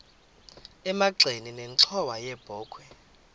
emagxeni nenxhowa yebokhwe